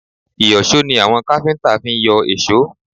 Ìyọ̀ṣó ni àwọn káfíńtà fi ń yọ èsó